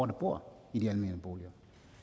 der bor i de almene boliger